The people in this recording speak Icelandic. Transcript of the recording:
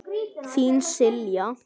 Þín, Silja.